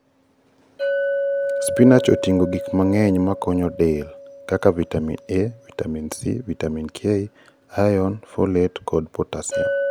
Spinach oting'o gik mang'eny makonyo del, kaka Vitamin A, Vitamin C, Vitamin K, iron, folate, kod potassium.